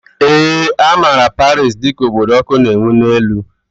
Ee, a maara Paris dị ka obodo ọkụ na ewu n'elu